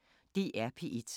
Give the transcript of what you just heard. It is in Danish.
DR P1